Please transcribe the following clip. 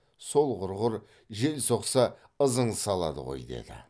сол құрғыр жел соқса ызың салады ғой деді